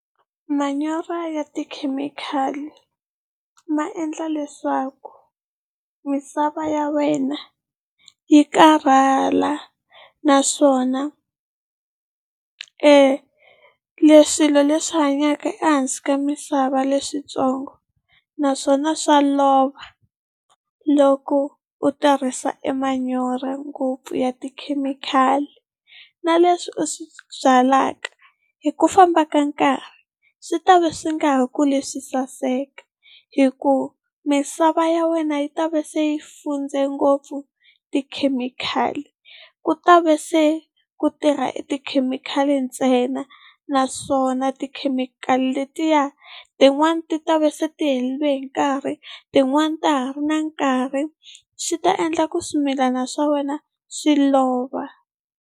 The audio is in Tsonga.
Manyoro ya tikhemikhali ma endla leswaku misava ya wena yi karhala, naswona e swilo leswi hanyaka ehansi ka misava leswitsongo naswona swa lova loko u tirhisa e manyoro ngopfu ya tikhemikhali, na leswi u swi byalaka hi ku famba ka nkarhi swi ta va swi nga ha kuli swi saseka hi ku misava ya wena yi ta va se yi fundze ngopfu tikhemikhali. Ku ta va se ku tirha e tikhemikhali ntsena naswona tikhemikhali letiya tin'wani ti ta va se tiherile hi nkarhi. Tin'wani ta ha ri na nkarhi swi ta endla ku swimilana swa wena swi lova.